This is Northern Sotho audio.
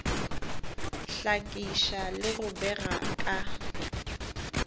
hlakiša le go bega ka